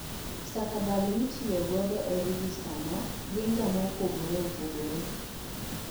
Stakabadhi ma itiyo godo ei rejester no gin ga maopogore opogore.